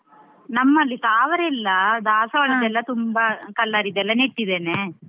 ನಮ್ಮಲ್ಲಿ ತಾವರೆ ಇಲ್ಲ ತುಂಬಾ colour ರಿದ್ದೆಲ್ಲಾ ನೆಟ್ಟಿದ್ದೇನೆ.